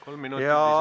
Kolm minutit lisaaega.